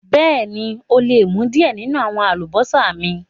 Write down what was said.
Bẹẹ̀ni, o lè mú diẹ̀ ninu àwọn àlúbọsà mi.